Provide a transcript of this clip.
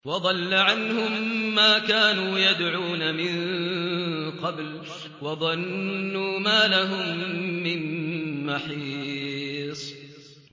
وَضَلَّ عَنْهُم مَّا كَانُوا يَدْعُونَ مِن قَبْلُ ۖ وَظَنُّوا مَا لَهُم مِّن مَّحِيصٍ